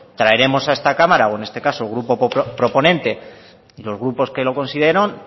traeremos a esta cámara o en este caso grupo proponente los grupos que los consideran